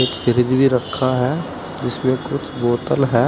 एक फ्रिज भी रखा है जिसमें कुछ बोतल है।